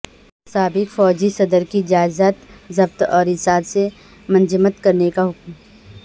سابق فوجی صدر کی جائیداد ضبط اور اثاثے منجمد کرنے کا حکم